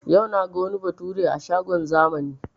Yau naga wani bature a shagon zamani